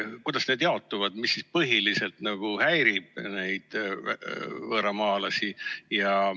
Kuidas nad jaotuvad, mis neid võõramaalasi põhiliselt häirib?